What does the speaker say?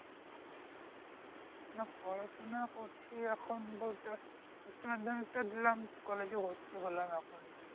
না পড়াশোনা করছি এখন বলতে উচ্চ মাধ্যমিক টা দিলাম college এ ভর্তি হলাম এখনই